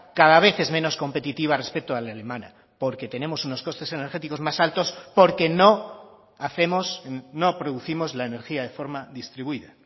cada vez es menos competitiva respecto a la alemana porque tenemos unos costes energéticos más altos porque no hacemos no producimos la energía de forma distribuida